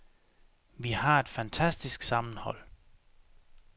Vi har et fantastisk sammenhold.